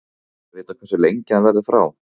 En er vitað hversu lengi hann verðu frá?